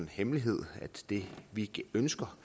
hemmelighed at det vi ønsker